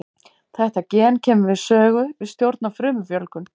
Þetta gen kemur við sögu við stjórn á frumufjölgun.